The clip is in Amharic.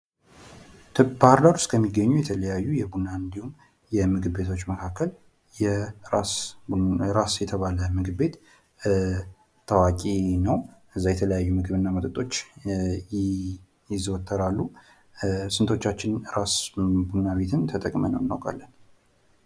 ባህርዳር ውስጥ ከሚገኙ የተለያዩ የቡና እንዲሁም የምግብ ቤቶች መካከል ራስ የተባለ ምግብ ቤት ታዋቂ ነው። እዛ የተለያዩ ምግብና መጠጦች ይዘወተራሉ። ስንቶቻችን ራስ ቡናና ምግብ ቤትን ተጠቅመነው እናውቃለን?